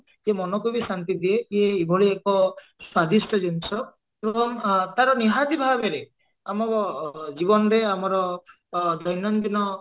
ସେ ମନକୁ ବି ଶାନ୍ତି ଦିଏ ସିଏ ଏଭଳି ଏକ ସ୍ଵାଦିଷ୍ଟ ଜିନିଷ ଏବଂ ତାର ନିହାତି ଭାବରେ ଆମ ଜୀବନରେ ଆମର ଦୈନନ୍ଦିନ